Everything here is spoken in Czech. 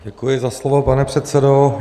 Děkuji za slovo, pane předsedo.